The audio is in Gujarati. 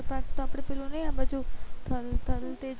પાસે આપડે તો પેલો ની આબાજુ થલતેજ